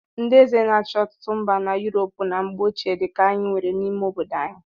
Ndị eze na-achị ọtụtụ mba na Yuropu na mgbe ochie dị ka anyị nwere n'ime obodo anyị.